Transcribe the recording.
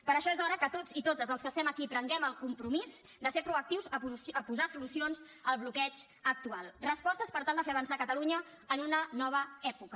per això és hora que tots i totes els que estem aquí prenguem el compromís de ser proactius a posar solucions al bloqueig actual respostes per tal de fer avançar catalunya en una nova època